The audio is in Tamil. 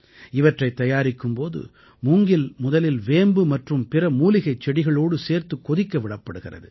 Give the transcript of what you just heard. இவற்றைத் தயாரிக்கும் போது மூங்கில் முதலில் வேம்பு மற்றும் பிற மூலிகைச் செடிகளோடு சேர்த்துக் கொதிக்கவிடப்படுகிறது